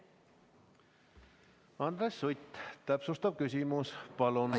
Andres Sutt, täpsustav küsimus palun!